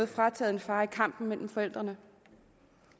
frataget en far i kampen mellem forældrene